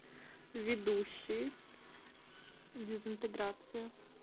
ведущий дезинтеграция